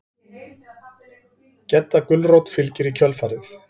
Gedda gulrót fylgir í kjölfarið.